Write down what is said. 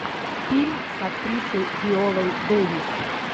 фильм с актрисой виолой дэвис